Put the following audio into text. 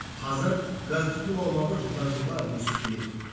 қазір газ тұтыну аумағы жылдан жылға өсіп келеді